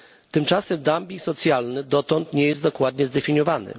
Tymczasem dumping socjalny dotąd nie został dokładnie zdefiniowany.